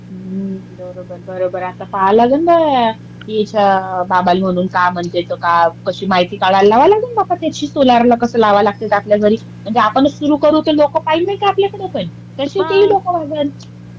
बरोबर, बरोबर. आता पाहाय लागन याच्या बाबाला म्हणून काय म्हणते तर काय. कशी माहिती काढायला लावावं लागल बाप्पा त्याची सोलार ला कसं लावा लागते ते आपल्या घरी. म्हणजे आपणच सुरू करू तर लोक पाहेल नाही का आपल्याकडपण, तसे तेही लोक वागेन.